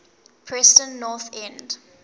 preston north end